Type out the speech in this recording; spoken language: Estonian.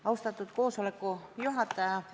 Austatud istungi juhataja!